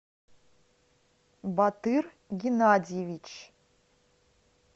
батыр геннадьевич